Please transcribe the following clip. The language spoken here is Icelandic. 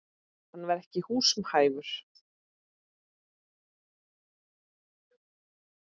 Hann var ekki húsum hæfur.